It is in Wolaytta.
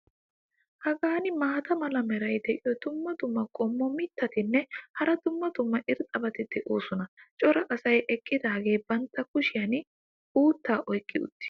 Hagan maata mala meray diyo dumma dumma qommo mitattinne hara dumma dumma irxxabati de'oosona. cora asay eqidaagee bantta kushiyan uuttaa oyqqi uttis.